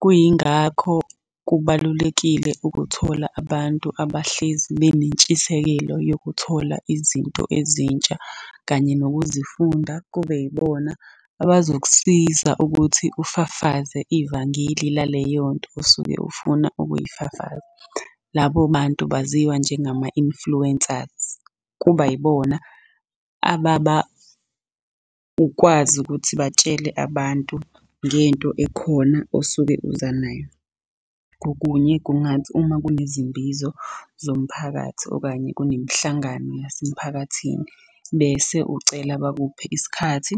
Kuyingakho kubalulekile ukuthola abantu abahlezi benentshisekelo yokuthola izinto ezintsha kanye nokuzifunda kube yibona abazokusiza ukuthi ufafaze ivangeli laleyo nto osuke ufuna ukuyifafaza. Labo bantu baziwa njengama-influencers. Kuba yibona ukwazi ukuthi batshele abantu ngento ekhona osuke uza nayo. Kokunye kungathi uma kunezimbizo zomphakathi, okanye kunemihlangano yasemphakathini bese ucela bakuphe isikhathi